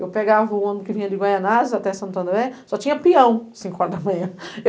Eu pegava o ônibus que vinha de Goianas até Santo André, só tinha peão às cinco horas da manhã.